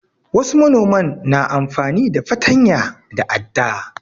Wasu manoman na amfani da fatanya da adda.